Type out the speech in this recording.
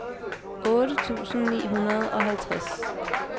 otte tusind ni hundrede og halvtreds